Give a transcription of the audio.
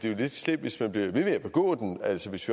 er lidt slemt hvis man bliver ved med at begå den altså hvis